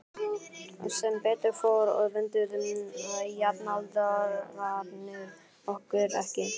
Og sem betur fór öfunduðu jafnaldrarnir okkur ekki.